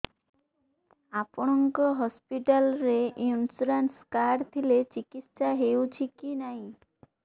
ଆପଣଙ୍କ ହସ୍ପିଟାଲ ରେ insurance card ଥିଲେ ଚିକିତ୍ସା ହେଉଛି କି ନାଇଁ